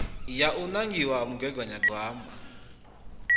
ya u nangiwa ha mugaganyagwama